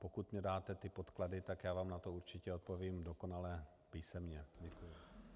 Pokud mi dáte ty podklady, tak já vám na to určitě odpovím dokonale písemně.